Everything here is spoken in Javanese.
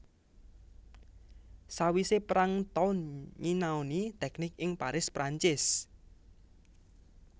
Sawise perang Towne nyinaoni teknik ing Paris Perancis